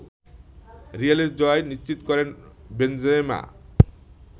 রিয়ালের জয় নিশ্চিত করেন বেনজেমা